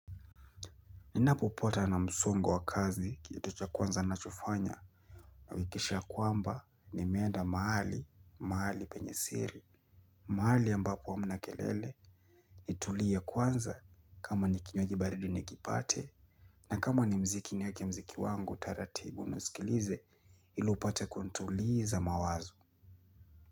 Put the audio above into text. Ninapopatwa na msongo wa kazi kitu cha kwanza nachofanya nahakikisha kwamba nimeenda mahali, mahali penye siri. Mahali ambapo hamna kelele. Nitulie kwanza kama ni kinywaji baridi nikipate. Na kama ni mziki nieke mziki wangu taratibu nisikilize ili upate kutuliza mawazo.